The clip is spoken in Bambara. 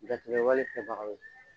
Jatigɛwale kɛbagaw